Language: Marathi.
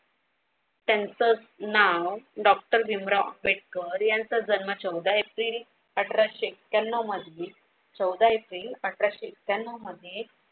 त्यांचं नाव डॉक्टर भीमराव आंबेडकर यांचा जन्म चौदा एप्रिल अठराशे एक्याण्णव मध्ये चौदा एप्रिल अठराशे एक्याण्णव मध्ये